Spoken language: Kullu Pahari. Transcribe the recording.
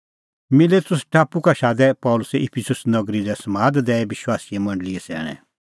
मिलेतुस टापू का शादै पल़सी इफिसुस नगरी लै समाद दैई विश्वासी मंडल़ीए सैणैं